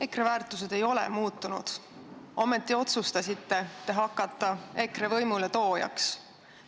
EKRE väärtused ei ole muutunud, ometi otsustasite hakata EKRE võimule toojaks.